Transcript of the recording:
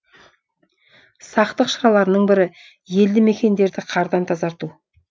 сақтық шараларының бірі елді мекендерді қардан тазарту